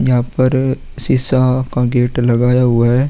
यहाँ पर शीशा का गेट लगाया हुआ है।